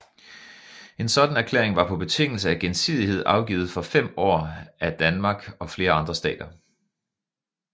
En sådan erklæring var på betingelse af gensidighed afgivet for 5 år af Danmark og flere andre stater